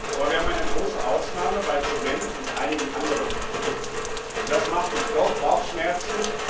Aber wir haben eine große Ausnahme bei Zement und einigen anderen Produkten, und das macht uns doch Bauchschmerzen.